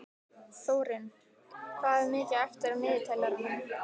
Þórinn, hvað er mikið eftir af niðurteljaranum?